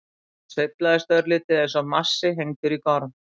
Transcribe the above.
Það sveiflast örlítið eins og massi hengdur í gorm.